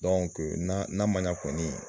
Donko n'a man ɲan kɔni